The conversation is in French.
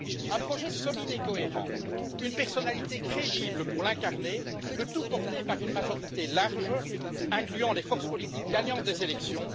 Un projet solide et cohérent, une personnalité crédible pour l'incarner, le tout porté par une majorité large, incluant les forces politiques gagnantes des élections.